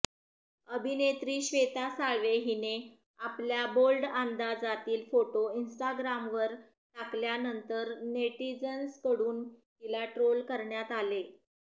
अभिनेत्री श्वेता साळवे हिने आपल्या बोल्ड अंदाजातील फोटो इंस्टाग्रामवर टाकल्यानंतर नेटिझन्सकडून तिला ट्रोल करण्यात आले